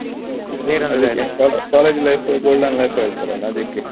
ಹೌದು college life golden life ಹೇಳ್ತಾರಲ್ಲ ಅದಿಕ್ಕೆ.